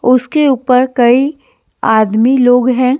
उसके ऊपर कई आदमी लोग हैं।